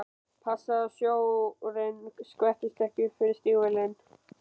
Passaðu að sjórinn skvettist ekki upp fyrir stígvélin!